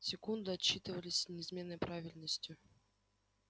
секунды отсчитывались с неизменной правильностью